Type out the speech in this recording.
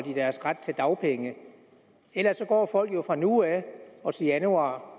deres ret til dagpenge ellers går folk jo fra nu af og til januar